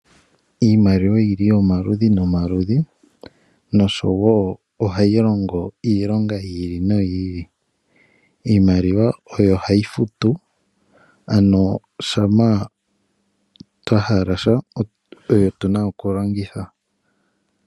Iimaliwa oyili omaludhi nomaludhi, nosho wo ohayi longo iilonga yi ili noyi ili. Iimaliwa oyo hayi futu, ano ngele twa hala sha, oyo tuna oku longitha.